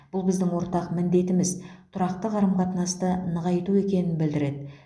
бұл біздің ортақ міндетіміз тұрақты қарым қатынасты нығайту екенін білдіреді